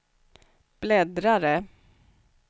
bläddrare